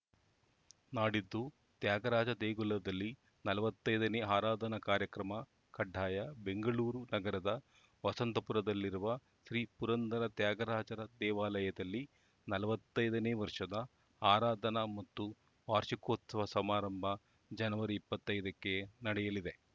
ನಾಡಿದ್ದು ತ್ಯಾಗರಾಜ ದೇಗುಲದಲ್ಲಿ ನಲವತ್ತೈದನೇ ಆರಾಧನಾ ಕಾರ್ಯಕ್ರಮ ಕಡ್ಡಾಯ ಬೆಂಗಳೂರು ನಗರದ ವಸಂತಪುರದಲ್ಲಿರುವ ಶ್ರೀ ಪುರಂದರ ತ್ಯಾಗರಾಜರ ದೇವಾಲಯದಲ್ಲಿ ನಲವತ್ತೈದನೇ ವರ್ಷದ ಆರಾಧನಾ ಮತ್ತು ವಾರ್ಷಿಕೋತ್ಸವ ಸಮಾರಂಭ ಜನವರಿ ಇಪ್ಪತ್ತೈ ದಕ್ಕೆ ನಡೆಯಲಿದೆ